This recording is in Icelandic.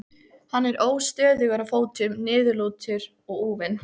Hann er óstöðugur á fótum, niðurlútur og úfinn.